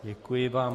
Děkuji vám.